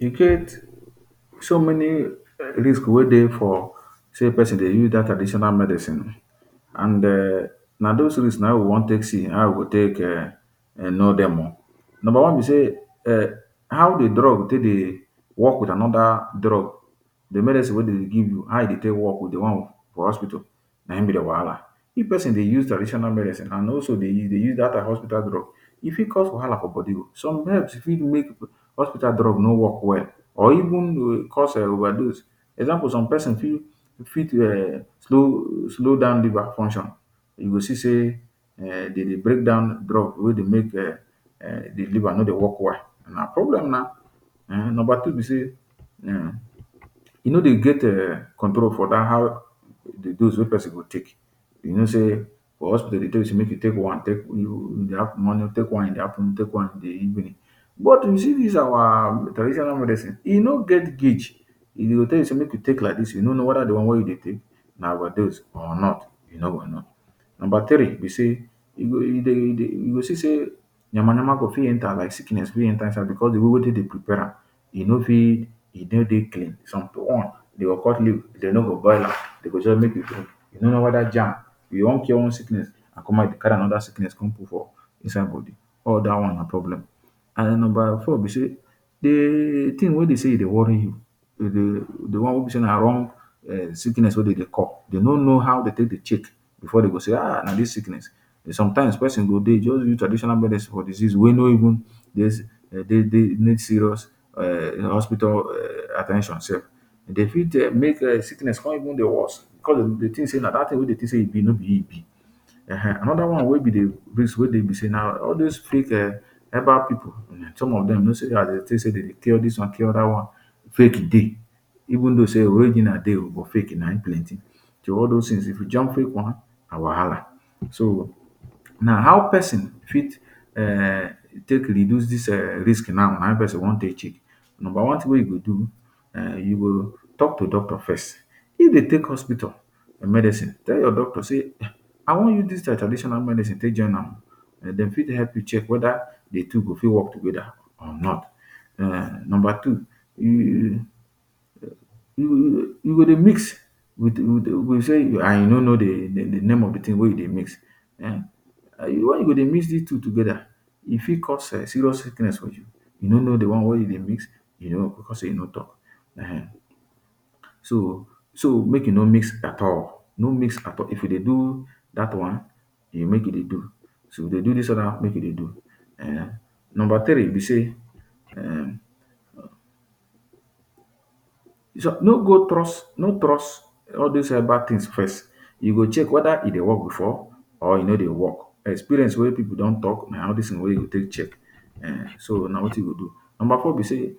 E get so many risk wey dey for say pesin dey use dat traditional medicine and um na dose risk na e wan take see how we go take um know dem o. number one be say um how di drug take dey work wit anoda drug di medicine wey de dey give you how e take work wit di one for hospital na wahala, if pesin dey use traditional medicine and also dey u use dat and hospital drug e fit cause wahala for body o. some herbs fit make hospital drug no work well or even cause overdose example some person fi fit slow slow down liver function you do see say dey dey breakdown drug wey go make um di liver no dey work well na problem na. Number two be say um e no dey um get control for dat how di dose go be you know say for hospital dey tell you say make you take one take one in di morning take one in di afternoon take one in di evening but you see dis our traditional medicine he no get gauge e go tell you say make e take like dis you no know weda di one wey you dey take na overdose or not you no go know. Number tiree, be say you go see say yamayama go fit enter like sickness wey enter inside am because di way wey dem dey prepare am you no fit e no dey clean some one dey go cut leaf dem no go boil am dey go just bring di broom you no know weda germ enter am, you won cure one sickness you carry anoda sickness enter put for inside body all dat one na problem. And number four be say di tin wey be say dey worry you di one wey be say na wrong sickness wey dem dey call de no know how dem take dey check before dey say ahh na dis sickness, sometimes pesin go dey just use tradional medicine for sickness wey no even need serious hospital at ten tion self dey fit make sickness come even worse self because de tin say wey you dey tink say di tin be no be him e be um. Anoda one wey tins wey be na all dis fake herbal pipu some of dem as dey dey cure dis one cure dat one fake dey even though say original dey oh but fake na him plenty so all dose tins if you jam fake one na wahala so. Now how pesin fit um take reduce dis um risk now na him pesin wan take check number one tin wey you go do um you go talk to doctor first if dey take hospital medicine tell your doctor say I wan use dis traditional medicine take join am o dem fit help you check weda di two fit work together or not. Number two, um you go dey mix and you say you no know di name of di tin wey you dey mix why you go dey mix dis two together e fit cause serious sickness for you you know know di one wey you dey mix cause e no talk um so so make you no mix at all no mix at all if you dey do dat one make you dey do if you dey do this one make you dey do. Number tiree be say um no go trust no trust all dis herbal tins first you go check weda e dey work before or e no dey work experience wey pipu dey don talk before na him you go take check, number four be say